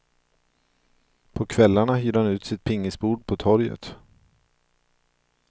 På kvällarna hyr han ut sitt pingisbord på torget.